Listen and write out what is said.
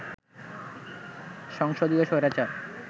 সংসদীয় স্বৈরাচার